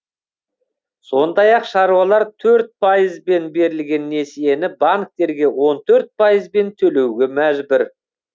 сондай ақ шаруалар төрт пайызбен берілген несиені банктерге он төрт пайызбен төлеуге мәжбүр